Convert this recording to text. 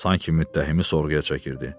Sanki müttəhimi sorğuya çəkirdi.